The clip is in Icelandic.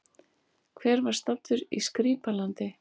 Hver var staddur í Skrýpla-landi?